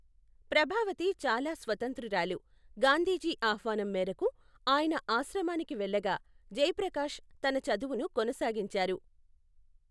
ప్రభావతి చాలా స్వతంత్రురాలు, గాంధీజీ ఆహ్వానం మేరకు, ఆయన ఆశ్రమానికి వెళ్ళగా, జయప్రకాష్ తన చదువును కొనసాగించారు.